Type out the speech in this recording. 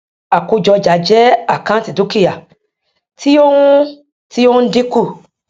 àkójọ ọjà jẹ àkáǹtì dúkìá tí ó ń tí ó ń dínkù